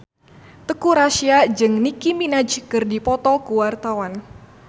Teuku Rassya jeung Nicky Minaj keur dipoto ku wartawan